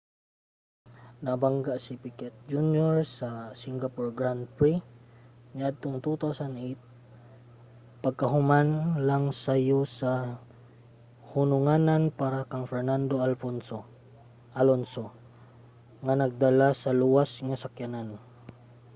nabangga si piquet jr. sa singapore grand prix niadtong 2008 pagkahuman lang sa sayo nga hununganan para kang fernando alonso nga nagdala sa luwas nga sakyanan